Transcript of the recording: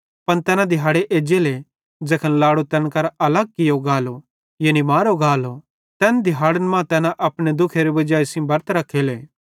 पन तैना दिहाड़े एज्जले ज़ैखन लाड़ो तैन केरां अलग कियो गालो यानी मारो गालो तैन दिहैड़न मां तैना अपने दुख्खेरे वजाई सेइं बरत रख्खेले